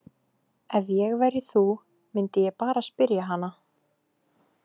Ef ég væri þú myndi ég bara spyrja hana.